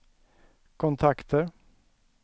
kontakter